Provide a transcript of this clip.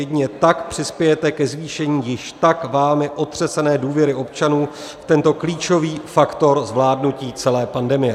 Jedině tak přispějete ke zvýšení již tak vámi otřesené důvěry občanů, tento klíčový faktor zvládnutí celé pandemie."